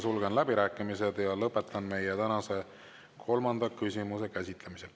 Sulgen läbirääkimised ja lõpetan meie tänase kolmanda käsitlemise.